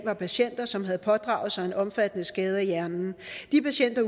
var patienter som havde pådraget sig en omfattende skade af hjernen de patienter